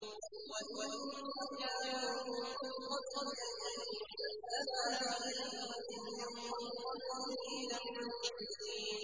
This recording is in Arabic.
وَإِن كَانُوا مِن قَبْلِ أَن يُنَزَّلَ عَلَيْهِم مِّن قَبْلِهِ لَمُبْلِسِينَ